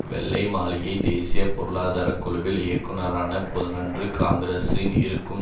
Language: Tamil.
வெள்ளை மாளிகை தேசிய பொருளாதார குழுவில் இயக்குனரான புதனன்று காங்கிரசில் இருக்கும்